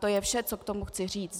To je vše, co k tomu chci říct.